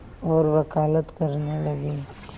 और वक़ालत करने लगे